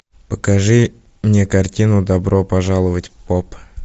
покажи мне картину добро пожаловать поп